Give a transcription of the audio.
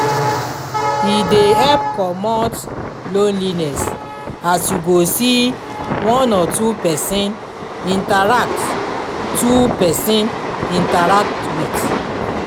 e dey help comot lonliness as yu go see one or two pesin interact two pesin interact wit